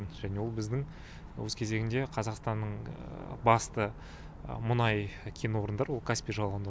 және ол біздің өз кезегінде қазақстанның басты мұнай кен орындары ол каспий жағалауында